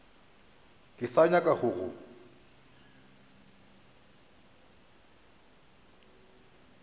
ke sa nyaka go go